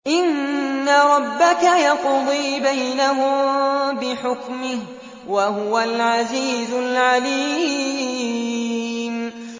إِنَّ رَبَّكَ يَقْضِي بَيْنَهُم بِحُكْمِهِ ۚ وَهُوَ الْعَزِيزُ الْعَلِيمُ